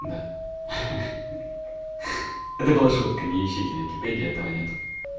да хи-хи это была шутка не ищите в википедии этого нет